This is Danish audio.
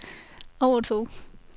overtog